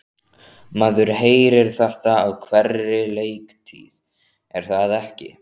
Maður heyrir þetta á hverri leiktíð er það ekki?